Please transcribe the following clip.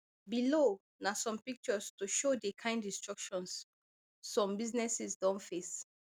below na some pictures to show di kain destructions some businesses don face